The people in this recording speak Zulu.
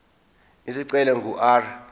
isicelo ingu r